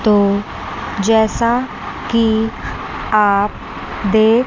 तो जैसा कि आप देख--